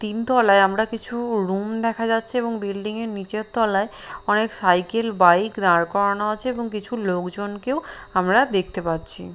তিন তলায় আমরা কিছু রুম দেখা যাচ্ছে এবং বিল্ডিঙের নিচের তলায় অনেক সাইকেল বাইক দাঁড় করানো আছে এবং কিছু লোকজনকেও আমরা দেখতে পাচ্ছি --